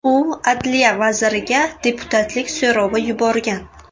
U adliya vaziriga deputatlik so‘rovi yuborgan.